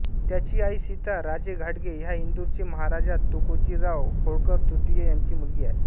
त्यांची आई सीता राजे घाटगे ह्या इंदूरचे महाराजा तुकोजीराव होळकरतृतीय यांची मुलगी आहे